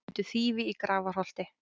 Fundu þýfi í Grafarholti